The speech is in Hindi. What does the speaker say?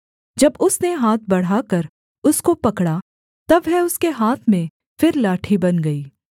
जब उसने हाथ बढ़ाकर उसको पकड़ा तब वह उसके हाथ में फिर लाठी बन गई